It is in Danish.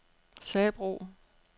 Sabro